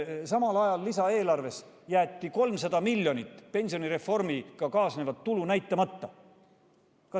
Samal ajal jäeti lisaeelarves 300 miljonit eurot pensionireformiga kaasnevat tulu näitamata.